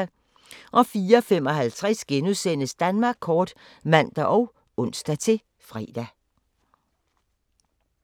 04:55: Danmark kort *(man og ons-fre)